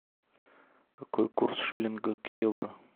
какой курс шиллинга к евро